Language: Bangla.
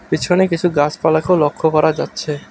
পিছনে কিসু গাসপালাকেও লক্ষ্য করা যাচ্ছে।